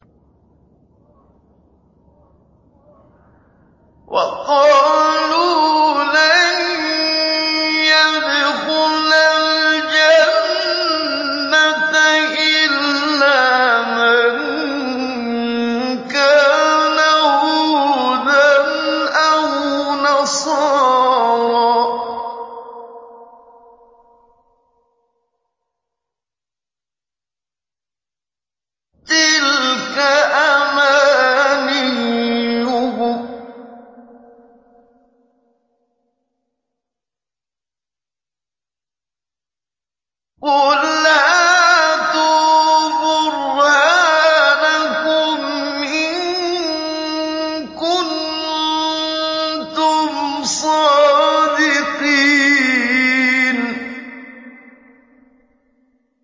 وَقَالُوا لَن يَدْخُلَ الْجَنَّةَ إِلَّا مَن كَانَ هُودًا أَوْ نَصَارَىٰ ۗ تِلْكَ أَمَانِيُّهُمْ ۗ قُلْ هَاتُوا بُرْهَانَكُمْ إِن كُنتُمْ صَادِقِينَ